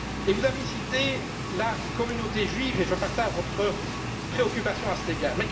Vous avez cité la communauté juive, et je partage votre préoccupation à cet égard.